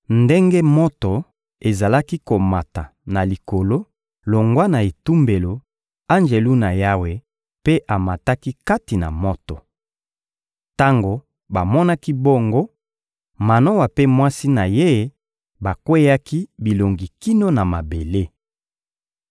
Ndenge moto ezalaki komata na likolo longwa na etumbelo, Anjelu na Yawe mpe amataki kati na moto. Tango bamonaki bongo, Manoa mpe mwasi na ye bakweyaki bilongi kino na mabele.